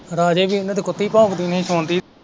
ਰਾਜੇ ਦੀ ਕੁੱਤੀ ਭੋਂਕਦੀ ਦਿਨੇ ਸੋਂਦੀ।